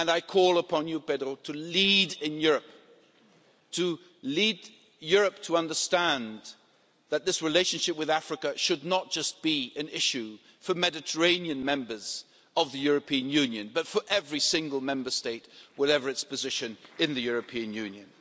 I call upon you, Pedro, to lead in Europe and to lead Europe to understand that this relationship with Africa should not just be an issue for Mediterranean Members of the European Union, but for every single Member State, whatever its position in the European Union.